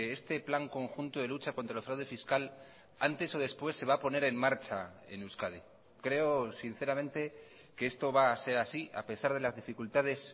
este plan conjunto de lucha contra el fraude fiscal antes o después se va a poner en marcha en euskadi creo sinceramente que esto va a ser así a pesar de las dificultades